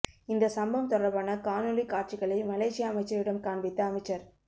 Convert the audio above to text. இந்த சம்பம் தொடர்பான காணொளிக் காட்சிகளை மலேசிய அமைச்சரிடம் காண்பித்த அமைச்சர்